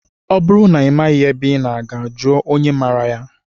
Ọ bụrụ na ị maghị ebe ị na-aga, jụọ onye maraa ya.